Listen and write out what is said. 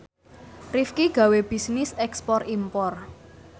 Rifqi gawe bisnis ekspor impor